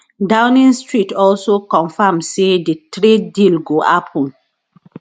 downing street also confam say di trade deal go happun